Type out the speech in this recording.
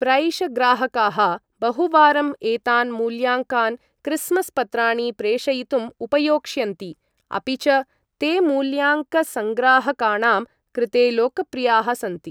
प्रैष ग्राहकाः बहुवारम् एतान् मूल्याङ्कान् क्रिस्मस् पत्राणि प्रेषयितुम् उपयोक्ष्यन्ति, अपि च ते मूल्याङ्कसङ्ग्राहकाणां कृते लोकप्रियाः सन्ति।